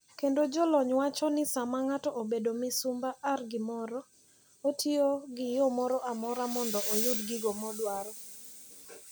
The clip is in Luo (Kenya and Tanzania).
Kendo jolony wacho ni sama ng'ato obedo misumba ar gimoro, otiyo gi yo moro amora mondo oyud gigo modwaro.